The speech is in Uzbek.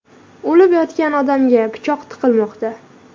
O‘lib yotgan odamga pichoq tiqilmoqda.